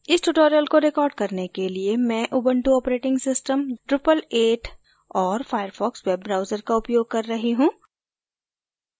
इस tutorial को record करने के लिए मैं उबंटु ऑपरेटिंग सिस्टम drupal 8 और firefox वेब ब्राउजर का उपयोग कर रही हूँ